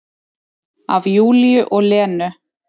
Af Júlíu og Lenu.